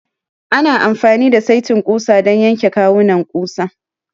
Ana amfani da saitin ƙusa don yanke kawunan ƙusa.